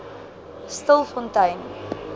stilfontein